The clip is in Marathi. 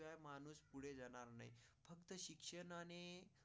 आणि.